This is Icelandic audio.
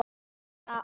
Ég gat gert þetta.